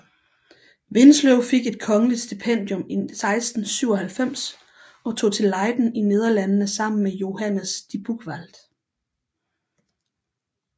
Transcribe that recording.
Winsløw fik et kongeligt stipendium i 1697 og tog til Leyden i Nederlandene sammen med Johannes de Buchwald